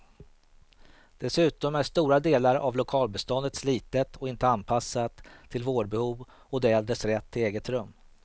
Dessutom är stora delar av lokalbeståndet slitet och inte anpassat till vårdbehov och de äldres rätt till eget rum.